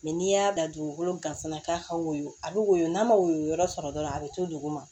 n'i y'a da dugukolo gansan k'a ka woyo a bɛ woyo n'a ma woyo yɔrɔ sɔrɔ dɔrɔn a bɛ to duguma